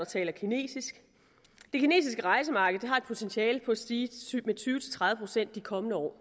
taler kinesisk det kinesiske rejsemarked har et potentiale til at stige med tyve til tredive procent de kommende år